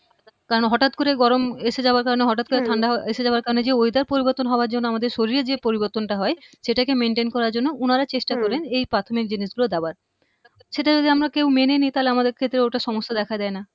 কারণ হঠাৎ করে গরম এসে যাওয়ার কারণে হঠাৎ করে হম ঠান্ডা এসে যাওয়ার কারণে যে weather পরিবর্তন হওয়ার জন্য আমাদের শরীরের যে পরিবর্তনটা হয় সেটাকে maintain করার জন্য উনারা চেষ্টা করেন হম এই প্রাথমিক জিনিস গুলো দেওয়ার সেটা যদি আমরা কেউ মেনে নিই তাহলে আমাদের ক্ষেত্রে ওটা সমস্যা দেখা দেয়না